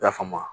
I y'a faamu